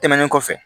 Tɛmɛnen kɔfɛ